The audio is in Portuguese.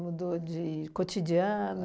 Mudou de cotidiano?